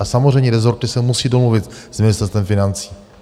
A samozřejmě rezorty se musí domluvit s Ministerstvem financí.